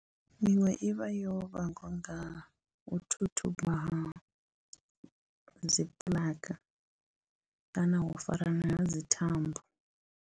Miṅwe i vha yo vhangwa nga u thuthuba ha dzi puḽaka kana u farana ha dzi thambo.